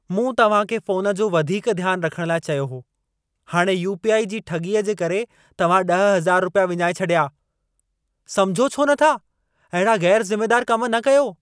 मूं तव्हां खे फोन जो वधीक ध्यान रखण लाइ चयो हो। हाणे यू.पी.आई. जी ठॻीअ जे करे तव्हां 10000 रुपया विञाए छॾिया। समझो छो नथा, अहिड़ा ग़ैरु ज़िमेदार कम न कयो।